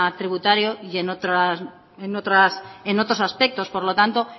tributario y en otros aspectos por lo tanto